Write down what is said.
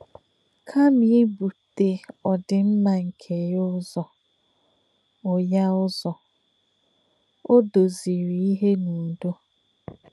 Kàmà ìbùtè òdìm̀má nke yà ǔzọ̀, ò yà ǔzọ̀, ò dòzìrì ìhè n’ùdọ̀.